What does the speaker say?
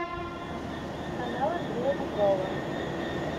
канал андрея петрова